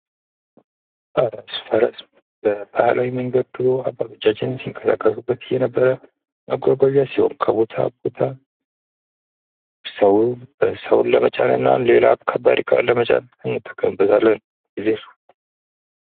ፈረስ:- ፈረስ በባህላዊ መንገድ ድሮ አባቶቻችን ሲንቀሳቀሱበት የነበረ መጓጓዣ ሲሆን ከቦታ ቦታ ሰዉን ለመጫን እና ሌላ ከባድ እቃን ለመጫን እንጠቀምበታለን።